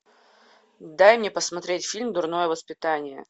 дай мне посмотреть фильм дурное воспитание